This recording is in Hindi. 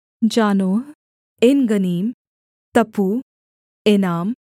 Zanoah Engannim Tappuah eNAM